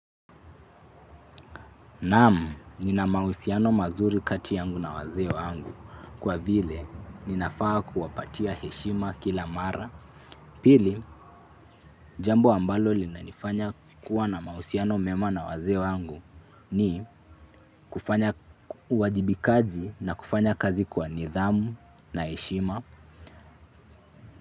Naam, ninamahusiano mazuri kati yangu na wazee wangu. Kwa vile, ninafaa kuwapatia heshima kila mara. Pili, jambo ambalo linanifanya kuwa na mahusiano mema na wazee wangu ni kufanya uwajibikaji na kufanya kazi kwa nidhamu na heshima.